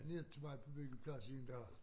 Ned til mig på byggepladsen en dag